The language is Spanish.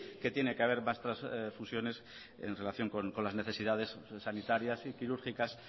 que tiene que haber más trasfusiones en relación con las necesidades sanitarias y quirúrgicas